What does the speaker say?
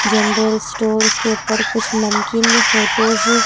General stores के ऊपर कुछ नमकीन की फोटोज हैं।